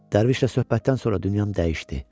Dərvişlə söhbətdən sonra dünyam dəyişdi.